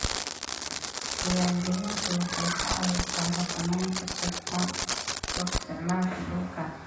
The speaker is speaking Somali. Diiwaangelintu waxay ka caawisaa xakamaynta si xun u isticmaalka dhulka.